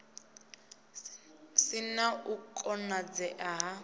si na u konadzea ha